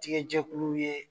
Tigɛjɛkulu ye.